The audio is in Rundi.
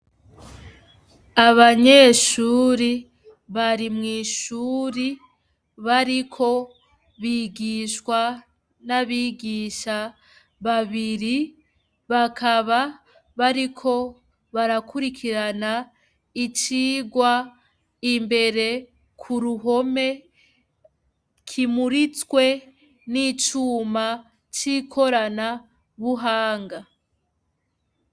Abanyeshure bari mw'ishure, bariko bigishwa n'abigisha babiri, bakaba bariko barakurikirana icigwa imbere k'uruhome, kimuritswe n'icuma c'ikoranabuhanga.